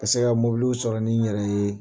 Ka se ka sɔrɔ ni n yɛrɛ ye